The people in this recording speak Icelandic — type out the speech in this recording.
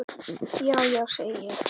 Já, já, segi ég.